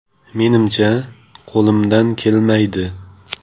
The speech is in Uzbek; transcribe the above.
Menimcha, qo‘limdan kelmaydi.